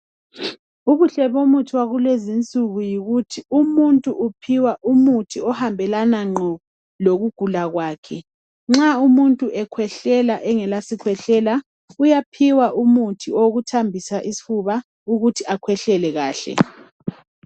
Ubuhle bomuthi wakule zinsuku yikuthi umuntu uphiwa umuthi ohambelana nqo lokugula kwakhe nxa umuntu ekhwehlela engela sikhwehlela uyaphiwa umuthi wokuthambisa isifuba ukuthi akhwehlele kahle.